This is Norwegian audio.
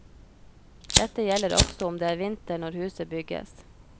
Dette gjelder også om det er vinter når huset bygges.